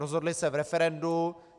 Rozhodli se v referendu.